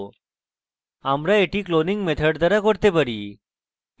আমরা এটি cloning method দ্বারা করতে পারি